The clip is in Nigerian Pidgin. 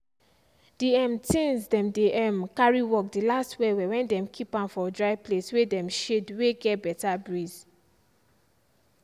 the um things dem dey um carry work dey last well well when dem keep am for dryplace way dem shade way get beta breeze